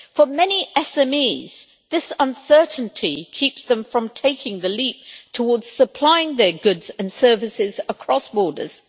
For many SMEs this uncertainty keeps them from taking the leap towards supplying their goods and services across borders.